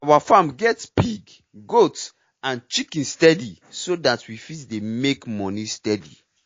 our farm get pig goat and chicken steady so that we fit dey make moni steady